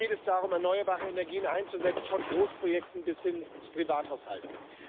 Hier geht es darum, erneuerbare Energien einzusetzen, von Großprojekten bis hin zu Privathaushalten.